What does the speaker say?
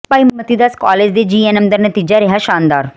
ਭਾਈ Mati Das college ਦੇ GNM ਦਾ ਨਤੀਜਾ ਰਿਹਾ ਸ਼ਾਨਦਾਰ